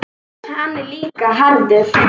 Hann er líka harður.